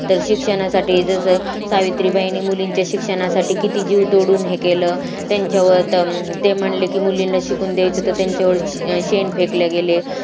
तर शिक्षणासाठी जसं सावित्रीबाईंनी मुलींचे शिक्षणासाठी किती जीव तोडून हे केलं त्यांच्यावर ते म्हणले की मुलींना शिकून द्यायचं तर त्यांच्यावर शेण गेले